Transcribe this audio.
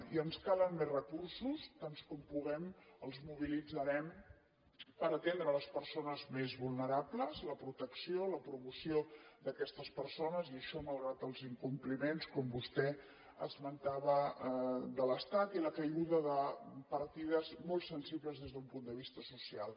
i ens calen més recursos tants com puguem els mobilitzarem per atendre les persones més vulnerables la protecció la promoció d’aquestes persones i això malgrat els incompliments com vostè esmentava de l’estat i la caiguda de partides molt sensibles des d’un punt de vista social